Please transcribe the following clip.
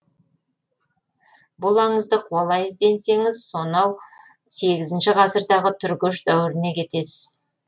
бұл аңызды қуалай ізденсеңіз сонау сегізінші ғасырдағы түргеш дәуіріне кетесіз